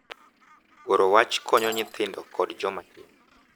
Goro wach konyo nyithindo kod joma tin